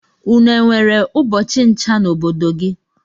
Une enwere ubọchi ncha na obodo gi?